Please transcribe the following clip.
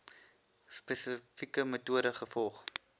spesifieke metode gevolg